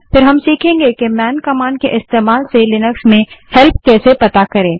फिर हम सीखेंगे कि मैन कमांड के इस्तेमाल से लिनक्स में हेल्प कैसे पता करें